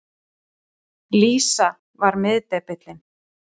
Lísa var miðdepillinn.